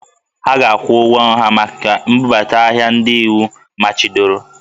Ha ga-akwụ ụgwọ nra maka mbubata ahịa ndị iwu machibidoro